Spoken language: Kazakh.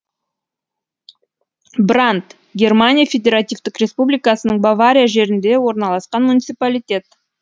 бранд германия федеративтік республикасының бавария жерінде орналасқан муниципалитет